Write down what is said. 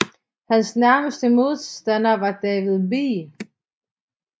Hans nærmeste modstander var David B